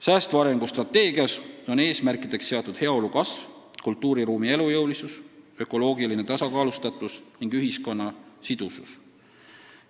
Säästva arengu strateegias on eesmärkideks seatud heaolu kasv, kultuuriruumi elujõulisus, ökoloogiline tasakaalustatus ning ühiskonna sidusus.